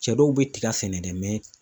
Cɛ dɔw bɛ tiga sɛnɛ dɛ